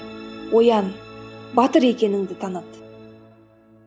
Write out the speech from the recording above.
оян батыр екеніңді таныт